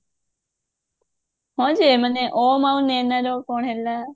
oh sorry ସେ ଅନନ୍ୟା ଆଉ ଓମ ର କଣ ହେଲା